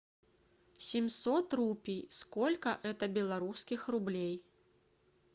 семьсот рупий сколько это белорусских рублей